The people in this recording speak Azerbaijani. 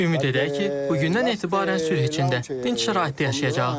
Ümid edək ki, bugündən etibarən sülh içində, dinc şəraitdə yaşayacağıq.